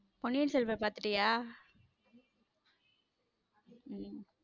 பொன்னின் செல்வன் பாத்திட்டிய உம்